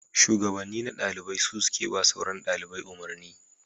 Shugabanni na dalibai su suke ba sauran dalibai umarni